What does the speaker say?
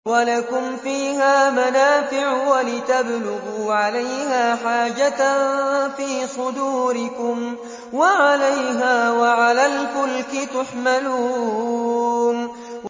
وَلَكُمْ فِيهَا مَنَافِعُ وَلِتَبْلُغُوا عَلَيْهَا حَاجَةً فِي صُدُورِكُمْ وَعَلَيْهَا وَعَلَى الْفُلْكِ تُحْمَلُونَ